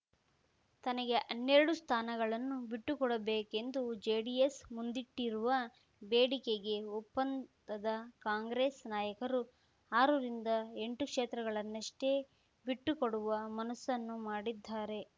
ತನಗೆ ಹನ್ನೆರಡು ಸ್ಥಾನಗಳನ್ನು ಬಿಟ್ಟುಕೊಡಬೇಕೆಂದು ಜೆಡಿಎಸ್ ಮುಂದಿಟ್ಟಿರುವ ಬೇಡಿಕೆಗೆ ಒಪ್ಪಂದದ ಕಾಂಗ್ರೆಸ್ ನಾಯಕರು ಆರು ರಿಂದ ಎಂಟು ಕ್ಷೇತ್ರಗಳನ್ನಷ್ಟೇ ಬಿಟ್ಟುಕೊಡುವ ಮನಸ್ಸನ್ನು ಮಾಡಿದ್ದಾರೆ